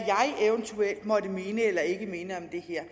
eventuelt måtte mene eller ikke mene om det her